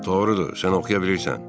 Doğrudur, sən oxuya bilirsən.